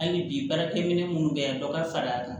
Hali bi baarakɛ minɛ minnu bɛ yan dɔ ka far'a kan